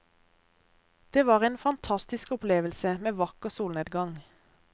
Det var en fantastisk opplevelse, med vakker solnedgang.